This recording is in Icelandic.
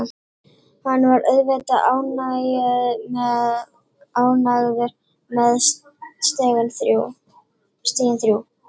Hann var auðvitað ánægður með stigin þrjú.